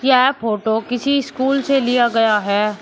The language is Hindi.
यह फोटो किसी स्कूल से लिया गया है।